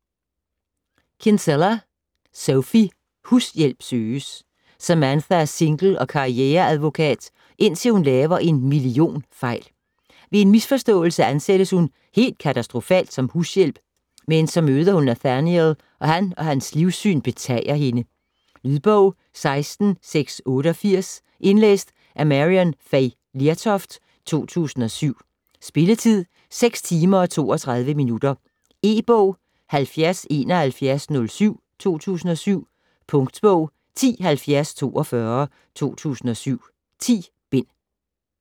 Kinsella, Sophie: Hushjælp søges Samantha er single og karriere-advokat, indtil hun laver en millionfejl. Ved en misforståelse ansættes hun - helt katastrofalt - som hushjælp, men så møder hun Nathaniel, og han og hans livssyn betager hende. Lydbog 16688 Indlæst af Maryann Fay Lertoft, 2007. Spilletid: 6 timer, 32 minutter. E-bog 707107 2007. Punktbog 107042 2007. 10 bind.